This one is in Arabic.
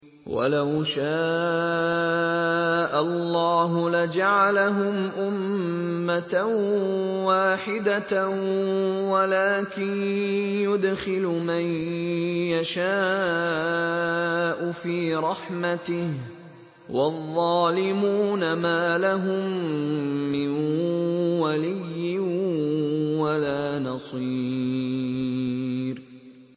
وَلَوْ شَاءَ اللَّهُ لَجَعَلَهُمْ أُمَّةً وَاحِدَةً وَلَٰكِن يُدْخِلُ مَن يَشَاءُ فِي رَحْمَتِهِ ۚ وَالظَّالِمُونَ مَا لَهُم مِّن وَلِيٍّ وَلَا نَصِيرٍ